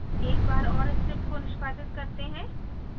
एक बार और script को निष्पादित करते हैं